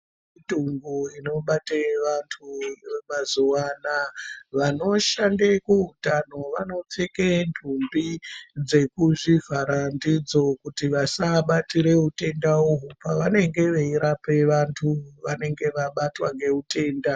Mitombo inobate vantu kuti vemazuwa anaa vanoshande kuutano vanopfeka ntumbi dzekuzvivhara ndidzo kuti vasabatira utenda uhwu pevanenge veirape vantu vanenge vabatwa ngeutenda.